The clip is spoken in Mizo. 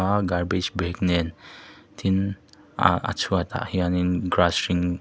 a garbage bag nen tin ahh a chhuat ah hianin grass hring--